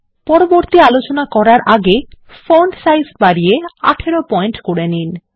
পরবর্তী আলোচনা করার আগে ফন্ট সাইজ বাড়িয়ে ১৮ পয়েন্ট করে দিন